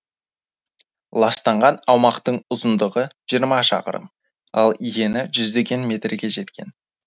ластанған аумақтың ұзындығы жиырма шақырым ал ені жүздеген метрге жеткен